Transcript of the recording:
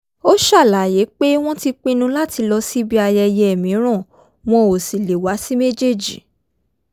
ó ṣàlàyé pé wọ́n ti pinnu láti lọ síbi ayẹyẹ mìíràn wọn ò sì lè wá sí méjèèjì